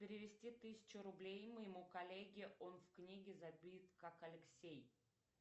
перевести тысячу рублей моему коллеге он в книге забит как алексей